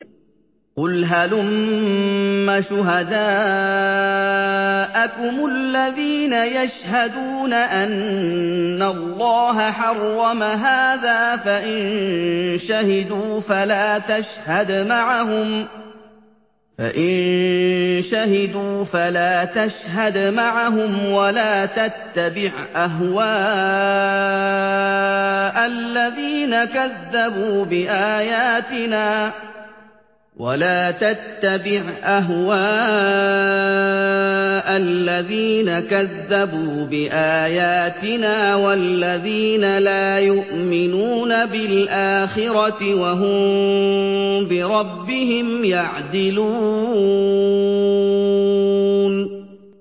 قُلْ هَلُمَّ شُهَدَاءَكُمُ الَّذِينَ يَشْهَدُونَ أَنَّ اللَّهَ حَرَّمَ هَٰذَا ۖ فَإِن شَهِدُوا فَلَا تَشْهَدْ مَعَهُمْ ۚ وَلَا تَتَّبِعْ أَهْوَاءَ الَّذِينَ كَذَّبُوا بِآيَاتِنَا وَالَّذِينَ لَا يُؤْمِنُونَ بِالْآخِرَةِ وَهُم بِرَبِّهِمْ يَعْدِلُونَ